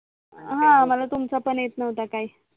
हा मला तुमचा पण येत नव्हता काही